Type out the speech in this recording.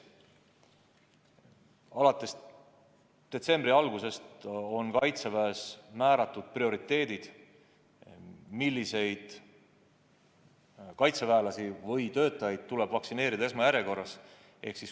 Alates detsembri algusest on Kaitseväes määratud prioriteedid, milliseid kaitseväelasi või töötajaid tuleb vaktsineerida esmajärjekorras.